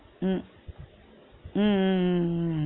உம் உம் உம் உம் உம்